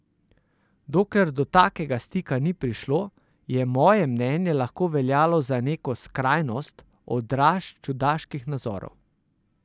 Dokler do takega stika ni prišlo, je moje mnenje lahko veljalo za neko skrajnost, odraz čudaških nazorov.